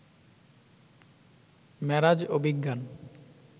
মেরাজ ও বিজ্ঞান